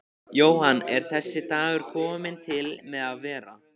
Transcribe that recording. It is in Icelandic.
Jóhann: Er þessi dagur kominn til með að vera?